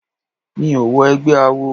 Mi ò wọ egbẹ́ awo.